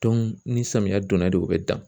ni samiya donna de u bɛ dan.